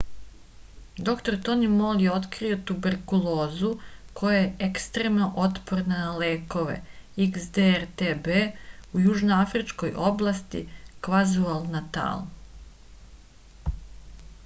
др тони мол је открио туберкулозу која је екстремно отпорна на лекове xdr-tb у јужноафричкој области квазулу-натал